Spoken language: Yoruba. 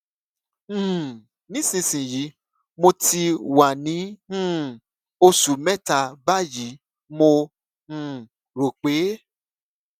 um nísinsìnyí mo ti wà ní um oṣù mẹta báyìí mo um rò pé